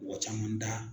Mɔgɔ caman da